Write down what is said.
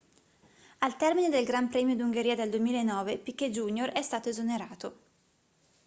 al termine del gran premio d'ungheria del 2009 piquet jr è stato esonerato